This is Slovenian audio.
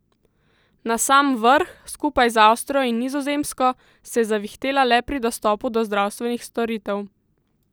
Na sam vrh, skupaj z Avstrijo in Nizozemsko, se je zavihtela le pri dostopu do zdravstvenih storitev.